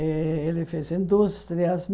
Eh ele fez indústrias.